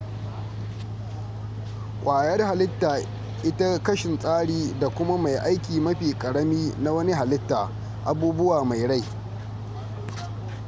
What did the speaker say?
kwayar hallita ita kashin tsari da kuma mai aiki mafi ƙarami na wani hallita abubuwa mai rai